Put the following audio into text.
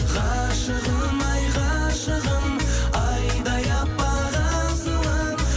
ғашығым ай ғашығым айдай аппақ асылым